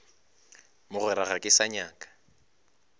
mogwera ga ke sa nyaka